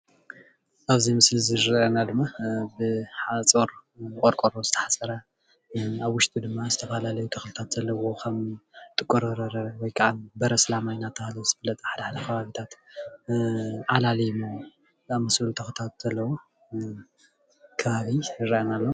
ኣብዚ ምስሊ ዝረአየና ድማ ብሓፁር ብቆርቆሮ ዝተሓፀረ ኣብ ውሽጡ ድማ ዝተፈላለየ ተክልታት ዘለዎ ከም ጥቁር በርበረ ወይ ካዓ በሪ ኣስላማይ እናተባሃለ ዝፍለጥ ብሓደሓደ ከባቢታት ዓላሊሞ ዝኣምሰሉ ተኽልታት ዘለዎ ከባቢ ይረአየና ኣሎ፡፡